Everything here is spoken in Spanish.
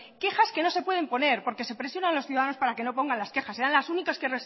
quejas que no se pueden poner porque se presionan a los ciudadanos para que no pongan las quejas serán las únicas que